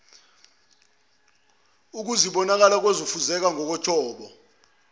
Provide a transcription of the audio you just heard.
izikubonakala ngokufezeka kwezinjongo